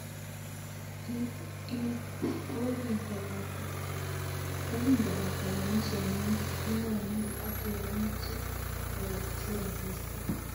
Kokingobata kenyisiek mut king'wanit, ak kiameche awekchi rabisiek.